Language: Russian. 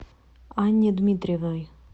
анне дмитриевой